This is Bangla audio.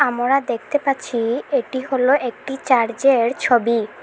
আমোরা দেখতে পাচ্ছি এটি হল একটি চার্জের ছবি।